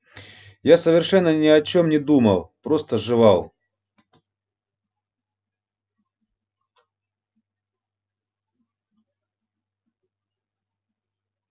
я совершенно ни о чём не думал просто жевал